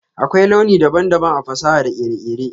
Akwai launi daban-daban a fasaha da kere-kere.